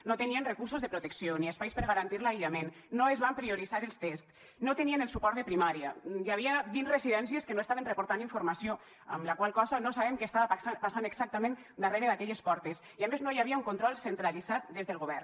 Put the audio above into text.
no tenien recursos de protecció ni espais per garantir l’aïllament no es van prioritzar els tests no tenien el suport de primària hi havia vint residències que no estaven reportant informació amb la qual cosa no sabem què estava passant exactament darrere d’aquelles portes i a més no hi havia un control centralitzat des del govern